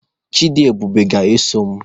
Chidiebube ga-eso m.